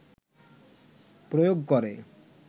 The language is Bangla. প্রয়োগ করে